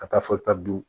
Ka taa fɔ ta don